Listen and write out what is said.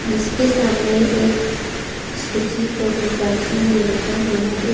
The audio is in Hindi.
जिसके सामने एक स्कूटी को भी पार्किंग में रखा हुआ है।